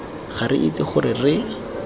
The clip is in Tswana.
ga re itse gore re